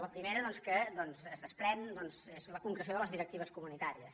la primera doncs que es desprèn és la concreció de les directives comunitàries